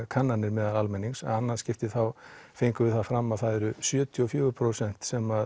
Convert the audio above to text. kannanir meðal almennings í annað skiptið þá fengum við það fram að það eru sjötíu og fjögur prósent sem